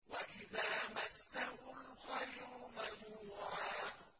وَإِذَا مَسَّهُ الْخَيْرُ مَنُوعًا